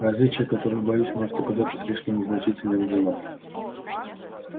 различие которое боюсь может оказаться слишком незначительным для нас